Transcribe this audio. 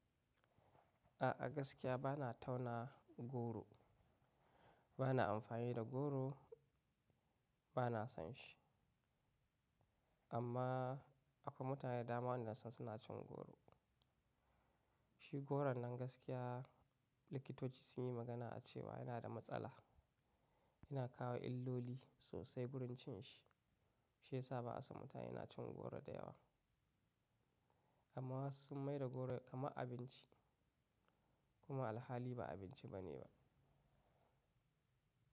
A'a gaskiya bana tauna goro, bana amfani da goro, bana son shi. Amma akwai mutane da dama wanda nasan suna cin goro. Shi goron nan gaskiya likitoci sun yi magana cewa yana da matsala, yana kawo illoli sosai wurin cin shi. Shi yasa ba a son mutane na cin goro da yawa. Amma wasu sun maida goro kamar abinci kuma alhali ba abinci bane ba.